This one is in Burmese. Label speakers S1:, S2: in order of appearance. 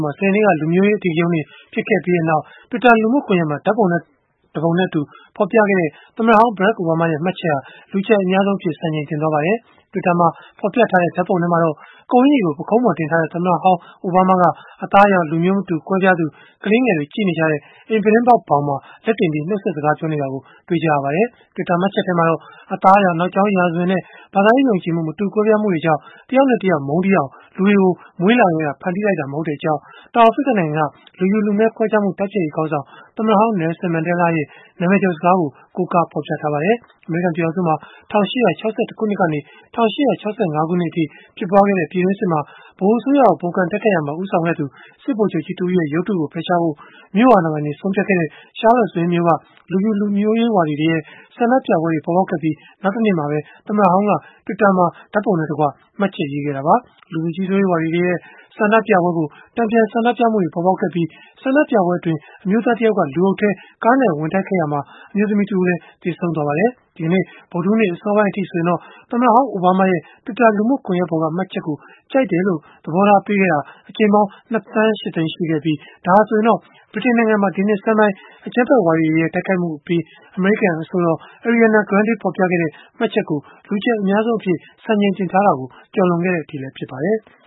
S1: မှာ စနေနေ့က လူမျိုးရေးအဓိကရုဏ်းတွေ ဖြစ်ပွားခဲ့ပြီးနောက်၊ Twitter လူမှုကွန်ယက်မှာ ဓာတ်ပုံတပုံနဲ့အတူ ဖော်ပြခဲ့တဲ့ သမ္မတဟောင်း Barack Obama ရဲ့ မှတ်ချက်ဟာ လူကြိုက်အများဆုံးအဖြစ် စံချိန်တင်သွားပါတယ်။ Twitter မှာ ဖော်ပြထားတဲ့ ဓာတ်ပုံထဲမှာတော့ ကုတ်အကျီကို ပုခုံးပေါ်တင်ထားတဲ့ သမ္မတဟောင်း အိုဘားမားက အသားအရောင် လူမျိုးမတူကွဲပြားသူ ကလေးငယ်တွေကြည့်နေကြတဲ့ အိမ်ပြုတင်းပေါက်ဘောင်မှာ လက်တင်ပြီး နှုတ်ဆက်စကား ပြောနေတာ တွေ့ရပါတယ်။ Twitter မှတ်ချက်မှာတော့ အသားအရောင်၊ နောက်ကြောင်းရာဇဝင်နဲ့ ဘာသာရေးယုံကြည်မှု မတူကွဲပြားမှုကြောင့် တယောက်နဲ့တယောက် မုန်းတီးအောင် လူတွေကို မွေးလာကတည်းက ဖန်တီးပေးလိုက်တာ မဟုတ်ကြောင်း တောင်အာဖရိကနိုင်ငံက လူဖြူလူမည်းခွဲခြားမှု တိုက်ဖျက်ရေး ခေါင်းဆောင်၊ သမ္မတဟောင်း Nelson Mandela ရဲ့ နာမည်ကျော်စကားကို ကိုးကားဖော်ပြထားပါတယ်။ အမေရိကန် ပြည်ထောင်စုမှာ ၁၈၆၁ ခုနှစ်ကနေ ၁၈၆၅ ခုနှစ်အထိ ဖြစ်ပွားခဲ့တဲ့ ပြည်တွင်းစစ်မှာ ဗဟိုအစိုးရကို ပုန်ကန်တိုက်ခိုက်ရာမှာ ဦးဆောင်ခဲ့သူ စစ်ဗိုလ်ချုပ်ကြီးတဦးရဲ့ ရုပ်တုကို ဖယ်ရှားဖို့ မြို့အာဏာပိုင်တွေက ဆုံးဖြတ်ခဲ့တဲ့ Charlottesville မြို့က လူဖြူလူမျိုးရေးဝါဒီတွေရဲ့ ဆန္ဒပြပွဲတွေ ပေါ်ပေါက်ခဲ့ပြီး နောက်တနေ့မှာပဲ သမ္မတဟောင်းက Twitter မှာ ဓာတ်ပုံနဲ့တကွ မှတ်ချက်ရေးသားခဲ့တာပါ။ လူဖြူကြီးစိုးရေးဝါဒီတွေရဲ့ ဆန္ဒပြပွဲကို တန်ပြန်ဆန္ဒပြမှုတွေ ပေါ်ပေါက်ခဲ့ပြီး၊ ဆန္ဒပြပွဲအတွင်း အမျိုးသား တယောက်က လူအုပ်ထဲ ကားနဲ့ဝင်တိုက်ခဲ့ရာမှာ အမျိုးသမီးတဦးလည်း သေဆုံးခဲ့ပါတယ်။ ဒီကနေ့ ဗုဒ္ဓဟူးနေ့ အစောပိုင်းအထိ ဆိုရင်တော့ သမ္မတဟောင်း အိုဘားမားရဲ့ Twitter လူမှုကွန်ယက်ပေါ်က မှတ်ချက်ကို ကြိုက်တယ်လို့ သဘောထားပေးခဲ့တာ အကြိမ်ပေါင်း ၂ သန်း ၈ သိန်း ရှိခဲ့ပြီး ဒါဟာဆိုရင်၊ ဗြိတိန်နိုင်ငံမှာ ဒီနှစ်ဆန်းပိုင်း အကြမ်းဖက်ဝါဒီတွေရဲ့ တိုက်ခိုက်မှုအပြီး အမေရိကန် အဆိုတော် Ariana Grande ဖော်ပြခဲ့တဲ့ မှတ်ချက်ကို လူကြိုက်အများအဆုံးအဖြစ် စံချိန်တင်ထားတာကို ကျော်လွန်ခဲ့တဲ့အထိ ဖြစ်ပါတယ်။